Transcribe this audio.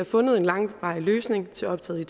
fundet en langvarig løsning til optaget i